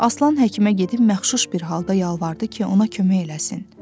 Aslan həkimə gedib məxşuş bir halda yalvardı ki, ona kömək eləsin.